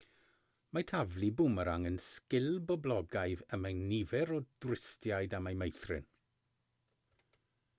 mae taflu bwmerang yn sgil boblogaidd y mae nifer o dwristiaid am ei meithrin